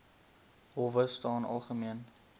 howe staan algemeen